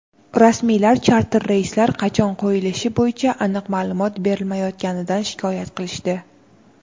rasmiylar charter reyslar qachon qo‘yilishi bo‘yicha aniq ma’lumot berilmayotganidan shikoyat qilishdi.